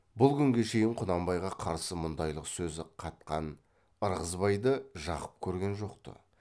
бұл күнге шейін құнанбайға қарсы мұндайлық сөз қатқан ьірғызбайды жақып көрген жоқ ты